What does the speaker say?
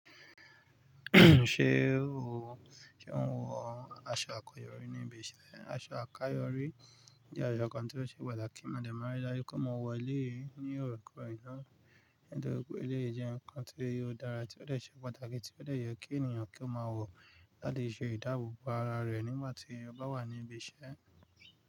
Ṣé ò ń, ṣe ò ń wọ aṣọ àkáyọrí ní ibi iṣẹ́? Aṣọ àkáyọrí jẹ́ aṣọ kan tí ó ṣe pàtàkì mo dẹ̀ máa rí dájú pé mọ ń wọ̀ elé yìí ní òòrèkóòrè. Nítorí pé elé yìí jẹ́ nǹkan tí ó dára tí ó dẹ̀ ṣe pàtàkì tí ó dẹ̀ yẹ kí ènìyàn kí ó máa wọ̀ láti ṣe ìdáàbò bo ara rẹ̀ nígbà tí ó bá wà ní ibi iṣẹ́.